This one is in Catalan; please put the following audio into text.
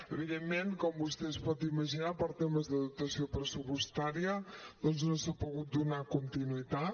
evidentment com vostè es pot imaginar per temes de dotació pressupostària doncs no s’hi ha pogut donar continuïtat